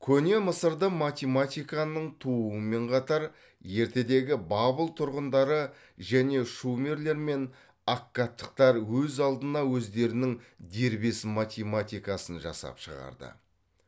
көне мысырда математиканың туумен қатар ертедегі бабыл тұрғындары және шумерлер мен аккадтықтар өз алдына өздерінің дербес математикасын жасап шығарды